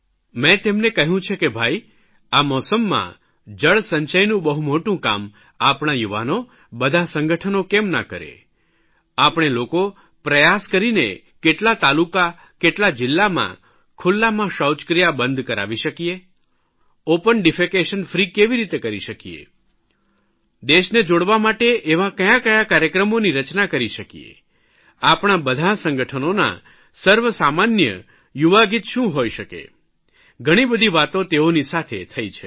મેં તેમને કહ્યું છે કે ભાઇ આ મોસમમાં જળસંચયનું બહુ મોટું કામ આપણા યુવાનો બધા સંગઠનો કેમ ના કરે આપણે લોકો પ્રયાસ કરીને કેટલા તાલુકા કેટલા જિલ્લામાં ખુલ્લામાં શૌચક્રિયા બંધ કરાવી શકીએ ઓપન ડીફેકશન ફ્રી કેવી રીતે કરી શકીએ દેશને જોડવા માટે એવા કયા કયા કાર્યક્રમોની રચના કરી શકીએ આપણાં બધાં સંગઠનોનાં સર્વસામાન્ય યુવાગીત શું હોઇ શકે ઘણીબધી વાતો તેઓની સાથે થઇ છે